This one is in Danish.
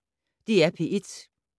DR P1